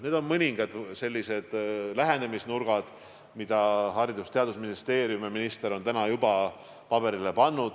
Need on mõningad sellised lähenemisnurgad, mida Haridus- ja Teadusministeerium ja minister on praeguseks juba paberile pannud.